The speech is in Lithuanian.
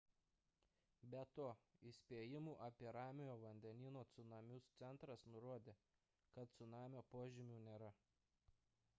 be to įspėjimų apie ramiojo vandenyno cunamius centras nurodė kad cunamio požymių nėra